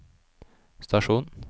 stasjon